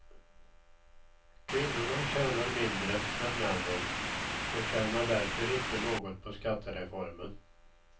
Kvinnorna tjänar mindre än männen och tjänar därför inte något på skattereformen.